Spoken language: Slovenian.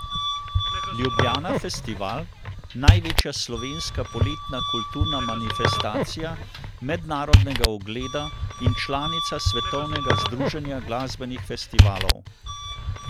Ljubljana Festival, največja slovenska poletna kulturna manifestacija mednarodnega ugleda in članica svetovnega združenja glasbenih festivalov.